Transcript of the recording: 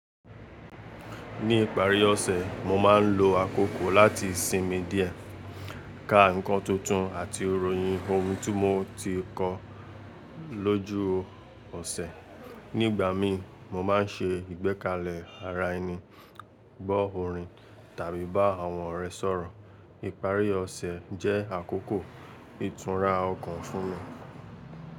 Ní ìparí ọ̀sẹ̀, mo máa ń lo àkókò láti sinmi díẹ̀, ka ǹkan tuntun àti iròyìn ohun tí mo ti kọ́ lójú ọ̀sẹ̀. Ní ìgbà mi, mo má ń se ìgbẹ́kalẹ̀ ara ẹni, gbọ́ orin tàbí bá àwọn ọ̀rẹ́ sọ̀rọ̀. Ìparí ọ̀sẹ̀ jẹ́ àkókò ìtura ọkàn fún mi.